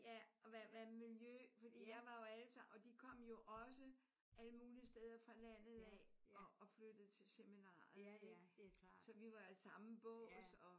Ja og hvad hvad miljø fordi jeg var jo alle sammen og de kom jo også alle mulige steder fra landet af og og flyttede til seminariet ik? Så vi var i samme bås og